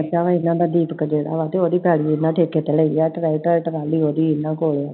ਇਹਨਾਂ ਦਾ ਦੀਪਕ ਜੇੜਾ ਵਾ ਉਹਦੀ ਪੈਲੀ ਇਹਨਾਂ ਠੇਕੇ ਤੇ ਲਈ ਆ, ਤੇ ਓਹਦਾ ਟਰੈਕਟਰ ਟਰਾਲੀ ਇਹਨਾਂ ਕੋਲੇ ਆl